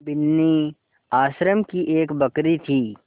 बिन्नी आश्रम की एक बकरी थी